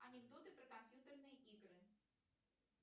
анекдоты про компьютерные игры